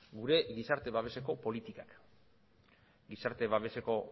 gure gizarte babeseko politikak gizarte babeseko